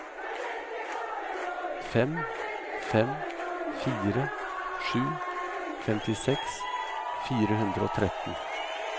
fem fem fire sju femtiseks fire hundre og tretten